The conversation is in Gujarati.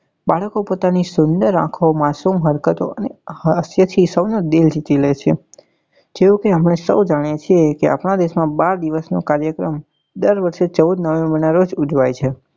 બાળકો પોતાની સુંદર આંખો માસુમ હરકતો અને હાસ્ય થી સૌ નું દિલ જીતી લે છે જેવું કે આપને સૌ જાણીએ છીએ કે આપણા દેશ માં બાળ દિવસ નો કાર્યક્રમ દર વર્ષે ચૌદ november નાં રોજ ઉજવાય છે.